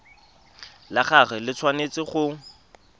la gagwe le tshwanetse go